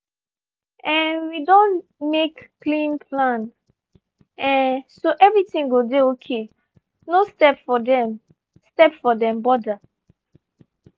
um we don make clean plan um so everything go dey okay no step for dem step for dem border.